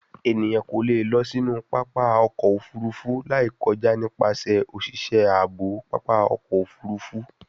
Eniyan ko le lọ sinu papa ọkọ ofurufu lai kọja nipasẹ oṣiṣẹ aabo papa ọkọ ofurufu